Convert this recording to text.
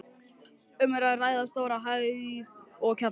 Um er að ræða stóra hæð og kjallara.